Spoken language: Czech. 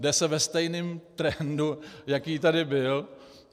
Jde se ve stejném trendu, jaký tady byl.